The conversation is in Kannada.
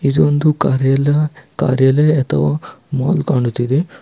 ಇದೊಂದು ಕಾರ್ಯಾಲ ಕಾರ್ಯಾಲಯ ಅಥವಾ ಮಾಲ್ ಕಾಣುತಿದೆ.